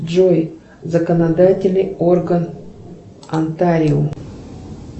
джой законодательный орган онтарио